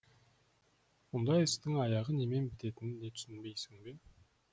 мұндай істің аяғы немен бітетінін де түсінбейсің бе